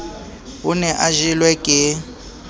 o ne a jelwe ke